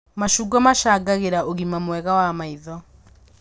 Macungwa macangagĩra ũgima mwega wa maitho